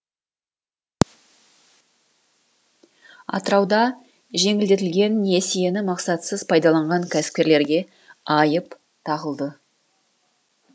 атырауда жеңілдетілген несиені мақсатсыз пайдаланған кәсіпкерлерге айып тағылды